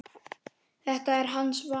Þetta er hans val.